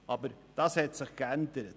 Aber das hat sich geändert.